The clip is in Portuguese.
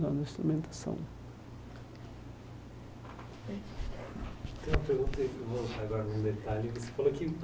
Tem uma pergunta aí que eu vou aguardar um detalhe você falou que.